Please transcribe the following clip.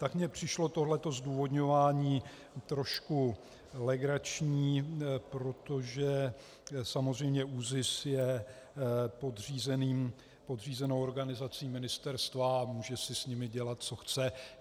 Tak mně přišlo tohle zdůvodňování trošku legrační, protože samozřejmě ÚZIS je podřízenou organizací ministerstva a může si s nimi dělat, co chce.